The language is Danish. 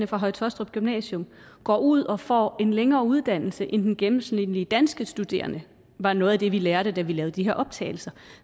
på høje taastrup gymnasium går ud og får en længere uddannelse end den gennemsnitlige danske studerende var noget af det vi lærte da vi lavede de her optagelser